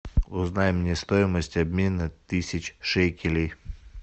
узнай мне стоимость обмена тысяч шекелей